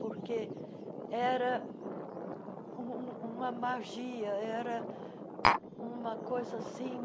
Porque era um um uma magia, era uma coisa assim,